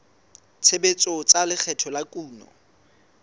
tshebetso tsa lekgetho la kuno